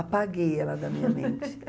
Apaguei ela da minha mente.